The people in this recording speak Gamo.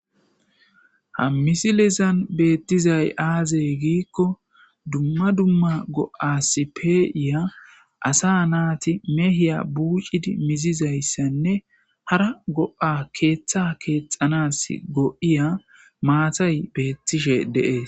Ha misilezani betizayi aze gikko duma duma go'asi pe'iya assa nati mehiya buccizi mizizayassane hara go'a ketha kexanasi lo'iya mattayi betishe deyesi